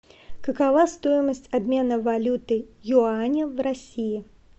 какова стоимость обмена валюты юаня в россии